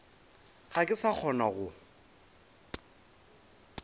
ga ke sa kgona go